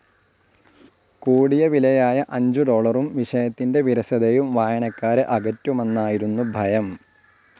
കൂടിയവിലയായ അഞ്ചു ഡോളറും, വിഷയത്തിന്റെ വിരസതയും വായനക്കാരെ അകറ്റുമന്നായിരുന്നു ഭയം.